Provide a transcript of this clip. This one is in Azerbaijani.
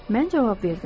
Mən cavab verdim.